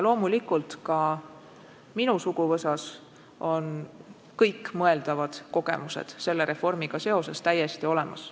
Loomulikult ka minu suguvõsas on kõikmõeldavad selle reformiga seotud kogemused täiesti olemas.